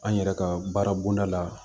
An yɛrɛ ka baara bonda la